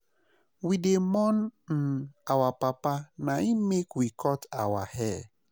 We dey mourn um our papa na im make we cut our hair.